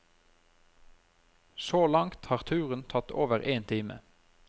Så langt har turen tatt over én time.